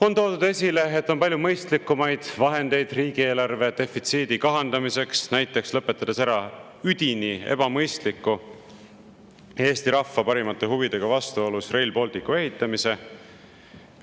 On toodud esile, et on palju mõistlikumaid vahendeid riigieelarve defitsiidi kahandamiseks, näiteks lõpetades ära üdini ebamõistliku, Eesti rahva parimate huvidega vastuolus oleva Rail Balticu ehitamise.